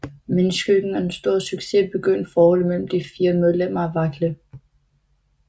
Men i skyggen af den store succes begyndte forholdet mellem de fire medlemmer at vakle